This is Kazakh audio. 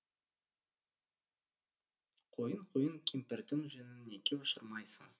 құйын құйын кемпірдің жүнін неге ұшырмайсың